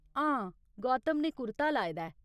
हां, गौतम ने कुर्ता लाए दा ऐ।